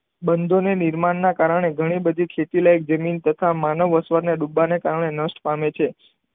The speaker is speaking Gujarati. બંધોને નિર્માણને કારણે ઘણી બધી ખેતીલાયક જમીન તથા માનવ વસવાટને ડૂબવાને કારણે નષ્ટ પામે છે.